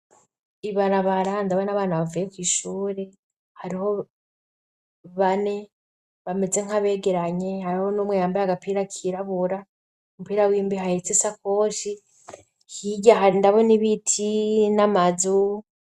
Ibarabara, ndabona abana bavuye kw'ishuri. Hariho bane bameze nk'abegeranye; hariho n'umwe yambaye agapira kirabura, umupira w'imbeho ahetse isakoshi. Hirya ndabona ibiti n'amazu.